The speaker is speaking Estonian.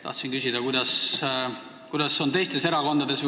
Tahtsin küsida, kuidas on teistes erakondades.